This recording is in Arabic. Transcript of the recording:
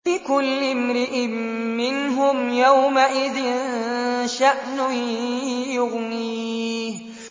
لِكُلِّ امْرِئٍ مِّنْهُمْ يَوْمَئِذٍ شَأْنٌ يُغْنِيهِ